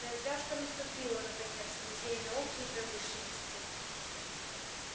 развязка наступила наконец в музее науки и промышленности